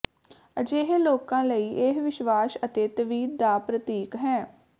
ਅਜਿਹੇ ਲੋਕਾਂ ਲਈ ਇਹ ਵਿਸ਼ਵਾਸ ਅਤੇ ਤਵੀਤ ਦਾ ਪ੍ਰਤੀਕ ਹੈ